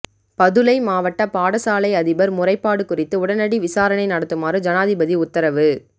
பதுளை மாவட்ட பாடசாலை அதிபர் முறைப்பாடு குறித்து உடனடி விசாரனை நடத்துமாறு ஜனாதிபதி உத்தரவு